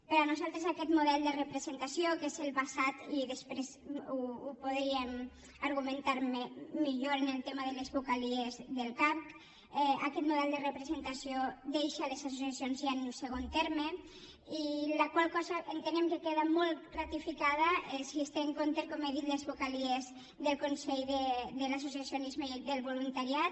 per nosaltres aquest model de representació que és el basat i després ho podríem argumentar millor en el tema de les vocalies del cavc deixa les associacions ja en un segon terme la qual cosa entenem que queda molt ratificada si es té en compte com he dit les vocalies del consell de l’associacionisme i del voluntariat